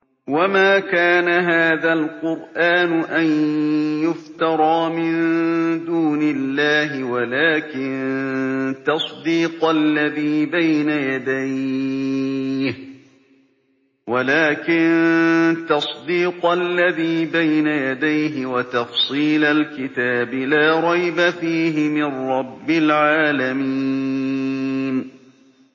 وَمَا كَانَ هَٰذَا الْقُرْآنُ أَن يُفْتَرَىٰ مِن دُونِ اللَّهِ وَلَٰكِن تَصْدِيقَ الَّذِي بَيْنَ يَدَيْهِ وَتَفْصِيلَ الْكِتَابِ لَا رَيْبَ فِيهِ مِن رَّبِّ الْعَالَمِينَ